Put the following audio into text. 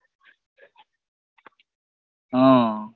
હ